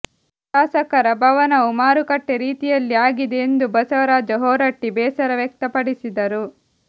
ಶಾಸಕರ ಭವನವು ಮಾರುಕಟ್ಟೆ ರೀತಿಯಲ್ಲಿ ಆಗಿದೆ ಎಂದು ಬಸವರಾಜ ಹೊರಟ್ಟಿ ಬೇಸರ ವ್ಯಕ್ತಪಡಿಸಿದರು